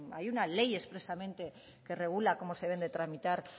hay una ley expresamente que regula cómo se deben de tramitar